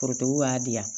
Forotigiw b'a di yan